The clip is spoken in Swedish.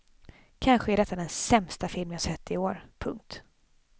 Kanske är detta den sämsta film jag sett i år. punkt